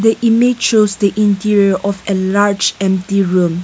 the image of the interior of a large and theorem.